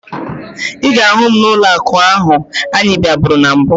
Ị ga-ahụ m n'ụlọakụ ahụ anyị bịaburu na mbụ